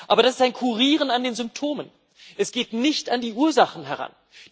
Aber das ist ein Kurieren an den Symptomen, es geht nicht an die Ursachen heran.